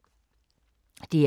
DR K